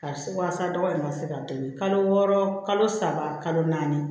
Karisa walasa dɔgɔ in ka se ka tɛmɛ kalo wɔɔrɔ kalo saba kalo naani